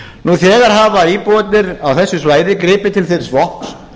nú þegar hafa íbúarnir á þessu svæði gripið til þess vopns